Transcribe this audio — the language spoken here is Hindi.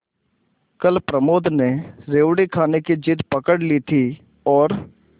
कल प्रमोद ने रेवड़ी खाने की जिद पकड ली थी और